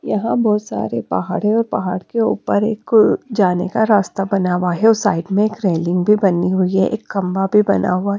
यहां बहुत सारे पहाड़ है और पहाड़ के ऊपर एक अ जाने का रास्ता बना हुआ है और साइड में एक रेलिंग भी बनी हुई है एक खंभा भी बना हुआ --